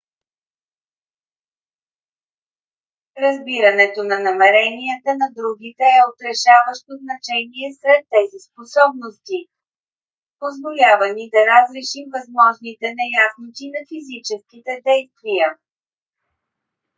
разбирането на намеренията на другите е от решаващо значение сред тези способности. позволява ни да разрешим възможните неясноти на физическите действия